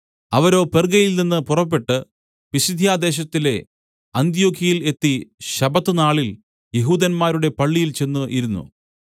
അവരോ പെർഗ്ഗയിൽനിന്ന് പുറപ്പെട്ട് പിസിദ്യാദേശത്തിലെ അന്ത്യൊക്യയിൽ എത്തി ശബ്ബത്ത് നാളിൽ യഹൂദന്മാരുടെ പള്ളിയിൽ ചെന്ന് ഇരുന്നു